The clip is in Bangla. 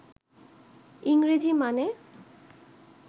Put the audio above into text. ইংরেজি মানে